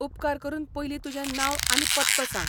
उपकार करून पयलीं तुजें नांव आनी पत्तो सांग.